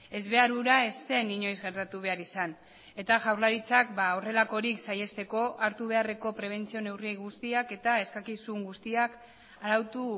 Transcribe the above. ezbehar hura ez zen inoiz gertatu behar izan eta jaurlaritzak horrelakorik saihesteko hartu beharreko prebentzio neurri guztiak eta eskakizun guztiak arautu